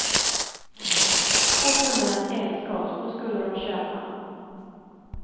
Få kunderna att älska oss, då skulle de köpa.